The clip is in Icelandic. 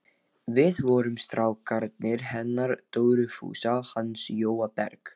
Við vorum strákarnir hennar Dóru Fúsa og hans Jóa Berg.